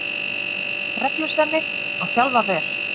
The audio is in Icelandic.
Reglusemi, og þjálfa vel